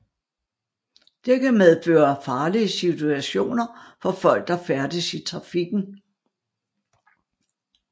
Det kan medføre farlige situationer for folk der færdes i trafikken